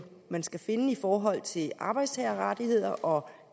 skal finde i forhold til arbejdstagerrettigheder og